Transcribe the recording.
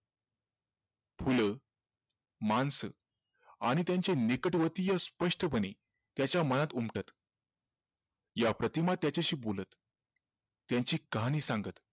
फुलं माणसं आणि त्यांचे नेकटवतीय स्पष्टपणे त्याच्या मनात उमटत या प्रतिमा त्याच्याशी बोलत त्यांची कहाणी सांगत